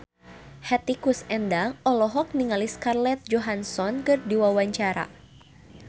Hetty Koes Endang olohok ningali Scarlett Johansson keur diwawancara